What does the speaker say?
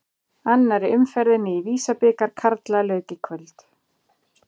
Annarri umferðinni í Visa-bikar karla lauk í kvöld.